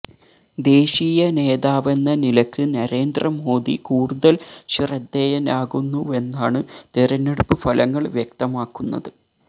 ദേശീയ നേതാവെന്ന നിലക്ക് നരേന്ദ്ര മോദി കൂടുതല് ശ്രദ്ധേയനാകുന്നുവെന്നാണ് തെരഞ്ഞടുപ്പ് ഫലങ്ങള് വ്യക്തമാക്കുന്നത്